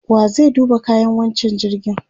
wa zai duba kayan wancan jirgin?